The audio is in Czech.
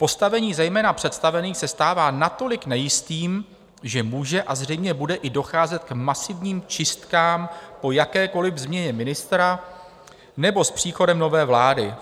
"Postavení zejména představených se stává natolik nejistým, že může a zřejmě bude i docházet k masivním čistkám po jakékoli změně ministra nebo s příchodem nové vlády.